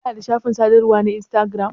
Kana da shafin sadarwa na instagiram?